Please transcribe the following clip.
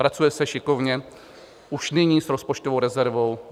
Pracuje se šikovně už nyní s rozpočtovou rezervou.